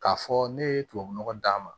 K'a fɔ ne ye tubabu nɔgɔ d'a ma